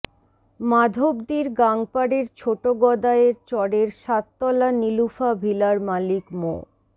মাধবদীর গাংপাড়ের ছোটগদাইর চরের সাততলা নিলুফা ভিলার মালিক মো